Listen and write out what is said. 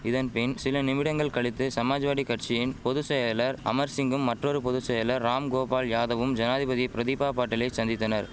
இதன் பின் சில நிமிடங்கள் கழித்து சமாஜ்வாடி கட்சியின் பொது செயலர் அமர்சிங்கும் மற்றொரு பொது செயலர் ராம்கோபால்யாதவும் ஜனாதிபதி பிரதிபா பாட்டீலை சந்தித்தனர்